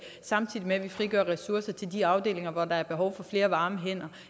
samtidig med at vi frigør ressourcer til de afdelinger hvor der er behov for flere varme hænder